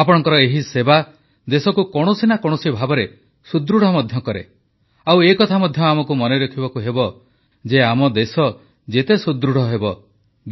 ଆପଣଙ୍କର ଏହି ସେବା ଦେଶକୁ କୌଣସି ନା କୌଣସି ଭାବରେ ସୁଦୃଢ଼ ମଧ୍ୟ କରେ ଆଉ ଏକଥା ମଧ୍ୟ ଆମକୁ ମନେରଖିବାକୁ ହେବ ଯେ ଆମ ଦେଶ ଯେତେ ସୁଦୃଢ଼ ହେବ